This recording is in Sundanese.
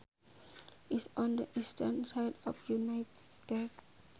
is on the eastern side of United States